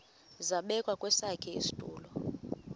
zabekwa kwesakhe isitulo